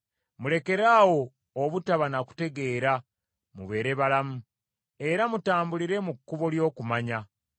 Mulekeraawo obutaba na kutegeera mubeere balamu, era mutambulire mu kkubo ly’okumanya.”